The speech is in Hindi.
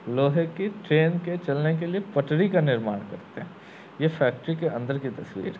लोहे की ट्रेन के चलने के लिए पटरी का निर्माण करते हैं। ये फेक्टरी के अंदर की तस्वीर है।